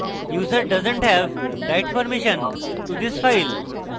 user doesn t have write permission to this file